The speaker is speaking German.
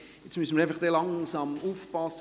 Jetzt müssen wir einfach langsam aufpassen: